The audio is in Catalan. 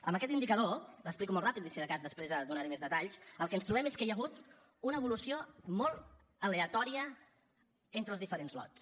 amb aquest indicador l’explico molt ràpidament i si de de cas després en donaré més detalls el que ens trobem és que hi ha hagut una evolució molt aleatòria entre els diferents lots